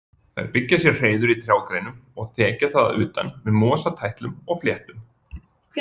Þær byggja sér hreiður í trjágreinum og þekja það að utan með mosatætlum og fléttum.